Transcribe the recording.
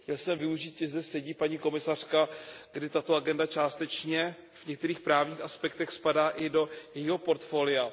Chtěl jsem využít, že zde sedí paní komisařka, kdy tato agenda částečně v některých právních aspektech spadá i do jejího portfolia.